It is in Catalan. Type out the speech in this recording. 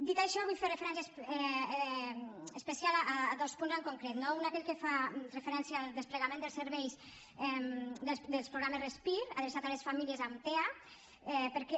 dit això vull fer referència especial a dos punts en concret no un aquell que fa referència al desplegament dels serveis dels programes respir adreçats a les famílies amb tea perquè